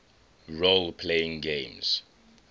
role playing games